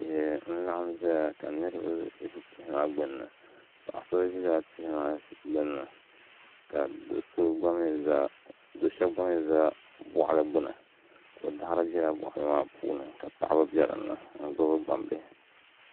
Tihi n laɣam ʒɛya ka niraba ʒi tihi maa gbunni paɣa shab ʒila tihi maa gbuni ka dab shab gba mii ʒi boɣali gbuni ko daɣari biɛla boɣali maa puuni ka paɣaba bɛ dinni n gbuni gbambihi